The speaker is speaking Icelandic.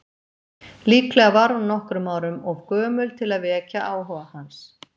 Líklega var hún nokkrum árum of gömul til að vekja áhuga hans.